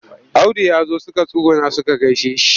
Audu ya zo suka tsuguna suka gaishe shi.